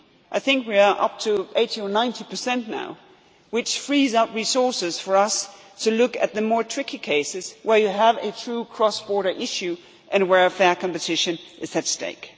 Treaty. I think we are up to 80 or 90 now, which frees up resources for us to look at the more tricky cases where you have a true cross border issue and where fair competition is at